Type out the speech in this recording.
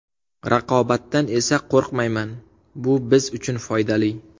Raqobatdan esa qo‘rqmayman, bu biz uchun foydali.